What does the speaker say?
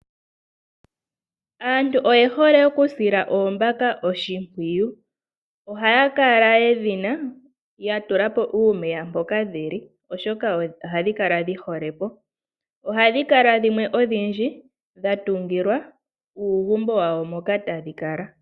Aantu oye hole okusila oombaka oshimpwiyu, ohaya kala yedhina ya tula po uumeya mpoka dhili oshoka ohadhi kala dhi hole po, ohadhi kala dhimwe odhindji dha tungilwa uugumbo wawo moka tadhi kala.